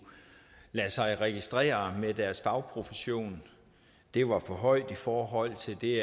lade sig registrere med deres fagprofession var for højt i forhold til det